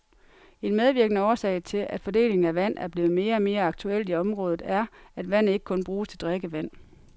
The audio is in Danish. En medvirkende årsag til at fordelingen af vand er blevet mere og mere aktuelt i området er, at vandet ikke kun bruges til drikkevand.